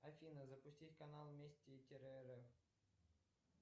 афина запустить канал вместе тире рф